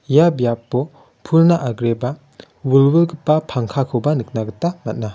ia biapo pulna agreba wilwilgipa pangkakoba nikna gita man·a.